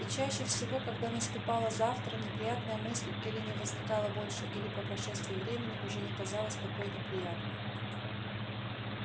и чаще всего когда наступало завтра неприятная мысль или не возникала больше или по прошествии времени уже не казалась такой неприятной